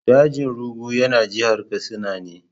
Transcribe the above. Dajin Rugu yana jihar Katsina ne.